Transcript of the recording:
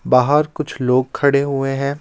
बाहर कुछ लोग खड़े हुए हैं.